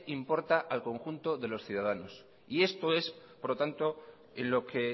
importan al conjunto de los ciudadanos y esto es por lo tanto en lo que